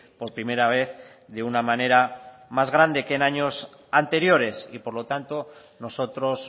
por primera vez de una manera más grande que en años anteriores y por lo tanto nosotros